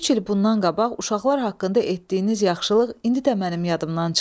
Üç il bundan qabaq uşaqlar haqqında etdiyiniz yaxşılıq indi də mənim yadımdan çıxmır.